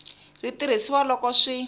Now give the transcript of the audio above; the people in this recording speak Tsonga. ri tirhisiwa loko swi te